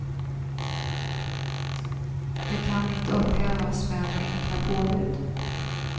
De kan inte upphävas med enkla påbud.